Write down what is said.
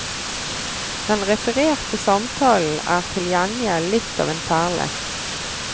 Den refererte samtalen er til gjengjeld litt av en perle.